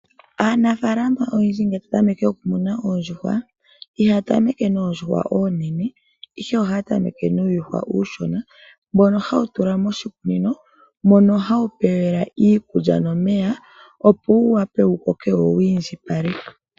Aanafalama oyendji ngele taya tameke okumuna oondjuhwa, ihaya tameke noondjuhwa oonene ihe ohaya tameke nuuyuhwa uushona mbono hawu tulwa moshikunino. Mono hawu pewelwa iikulya nomeya opo wu wape wu koke wo wi indjipale.